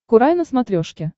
курай на смотрешке